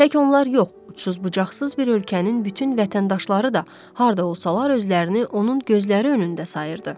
Tək onlar yox, ucsuz-bucaqsız bir ölkənin bütün vətəndaşları da harda olsalar özlərini onun gözləri önündə sayırdı.